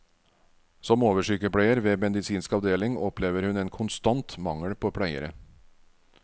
Som oversykepleier ved medisinsk avdeling opplever hun en konstant mangel på pleiere.